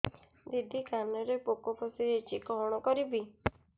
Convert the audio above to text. ଦିଦି କାନରେ ପୋକ ପଶିଯାଇଛି କଣ କରିଵି